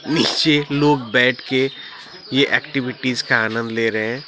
नीचे लोग बैठ के ये एक्टिविटीज का आनंद ले रहे हैं।